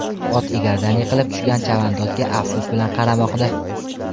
Ot egardan yiqilib tushgan chavandozga afsus bilan qaramoqda.